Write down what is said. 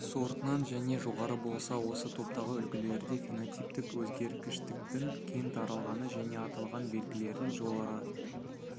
сортынан және жоғары болса осы топтағы үлгілерде фенотиптік өзгергіштіктің кең таралғаны және аталған белгілердің жоғары